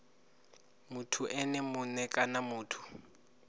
muthu ene mue kana muthu